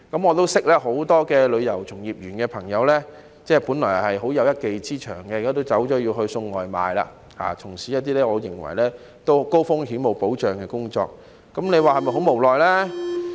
我認識很多從事旅遊業的朋友，他們本來有一技之長，但現在也轉行送外賣，轉而從事一些我認為是高風險、沒保障的工作，大家說是否非常無奈呢？